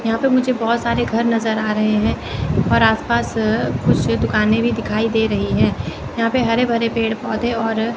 यहां पे मुझे बहोत सारे घर नजर आ रहे हैं और आस पास कुछ दुकानें भी दिखाई दे रही हैं यहां पे हरे भरे पेड़ पौधे और--